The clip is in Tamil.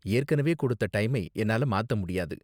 ஏற்கனவே கொடுத்த டைமை என்னால மாத்த முடியாது.